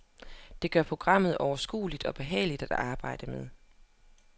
Det gør programmet overskueligt og behageligt at arbejde med.